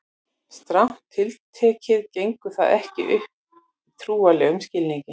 strangt til tekið gengur það ekki upp í trúarlegum skilningi